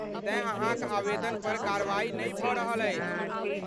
तेँ अहाँक आवेदन पर कार्रवाई नहि भऽ रहल अछि।